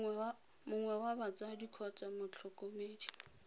mongwe wa batsadi kgotsa motlhokomedi